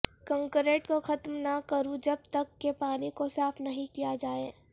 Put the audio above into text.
concrete کو ختم نہ کرو جب تک کہ پانی کو صاف نہیں کیا جائے